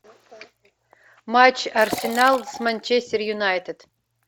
матч арсенал с манчестер юнайтед